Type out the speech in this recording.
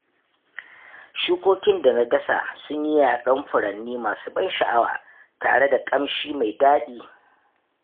Shukokin da na dasa sun yi yaɗon furanni masu ban sha'awa, tare da ƙamshi mai daɗi.